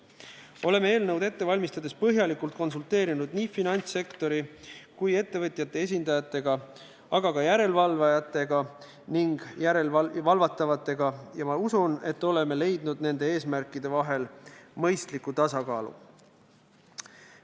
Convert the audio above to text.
Oleme eelnõu ette valmistades põhjalikult konsulteerinud nii finantssektori kui ka ettevõtjate esindajatega, aga ka järelevalvatavatega ja ma usun, et oleme leidnud nende eesmärkide vahel mõistliku tasakaalu.